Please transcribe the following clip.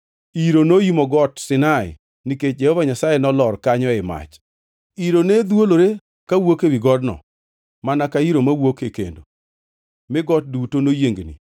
Iro noimo Got Sinai nikech Jehova Nyasaye nolor kanyo ei mach. Iro ne dhwolore kawuok ewi godno mana ka iro mawuok e kendo, mi got duto noyiengni,